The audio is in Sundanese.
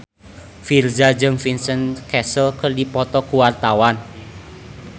Virzha jeung Vincent Cassel keur dipoto ku wartawan